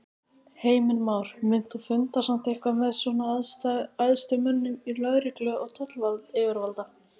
Heimir Már: Munt þú funda samt eitthvað með svona æðstu mönnum í lögreglu og tollayfirvalda?